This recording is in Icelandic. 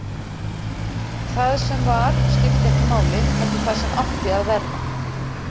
Það sem var skipti ekki máli, heldur það sem átti að verða.